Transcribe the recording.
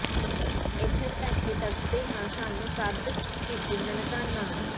ਅਸੀਂ ਏਧਰ ਬੈਠੇ ਤਰਸਦੇ ਆਂ ਸਾਨੂੰ ਕਦ ਦਿਸੂ ਨਨਕਾਣਾ